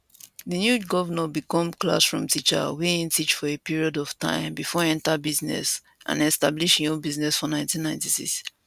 di new govnor become classroom teacher wia e teach for a period of time before enta business and establish im own business for 1996